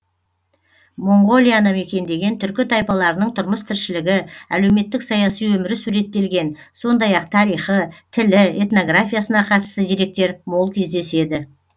моңғолияны мекендеген түркі тайпаларының тұрмыс тіршілігі әлеуметтік саяси өмірі суреттелген сондай ақ тарихы тілі этнографиясына қатысты деректер мол кездеседі